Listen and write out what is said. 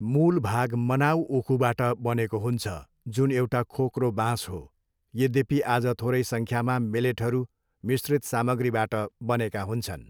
मूल भाग मनाव उखुबाट बनेको हुन्छ, जुन एउटा खोक्रो बाँस हो, यद्यपि आज थोरै सङ्ख्यामा मेलेटहरू मिश्रित सामग्रीबाट बनेका हुन्छन्।